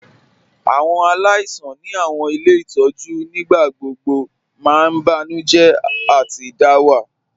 Awọn aláìsàn ni awọn ilẹ̀ itọju nígbàgbọ̀gbọ̀ mà n bànújẹ̀ àti dàwà.